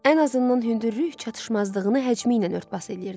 Ən azından hündürlük çatışmazlığını həcmi ilə ört-bas eləyirdi.